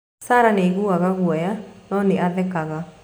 Sarah nĩ aiguaga guoya, no nĩ athekaga.